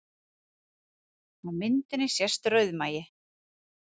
Á myndinni sést rauðmagi